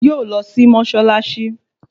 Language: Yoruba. Yóò lọ sí Mọ́ṣáláṣí